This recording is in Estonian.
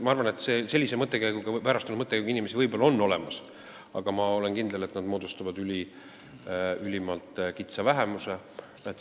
Ma arvan, et sellise väärastunud mõttekäiguga inimesi võib-olla on olemas, aga ma olen kindel, et nad moodustavad ülimalt kitsa vähemuse.